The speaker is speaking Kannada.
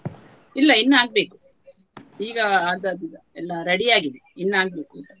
ಇಲ್ಲ ಇನ್ನು ಆಗ್ಬೇಕು ಈಗ ಆಗ್ತದೆ ಎಲ್ಲ ready ಆಗಿದೆ ಇನಾಗ್ಬೇಕು.